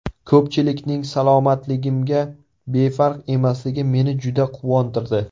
Ko‘pchilikning salomatligimga befarq emasligi meni juda quvontirdi.